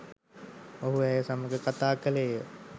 ඔහු ඇය සමඟ කථා කළේය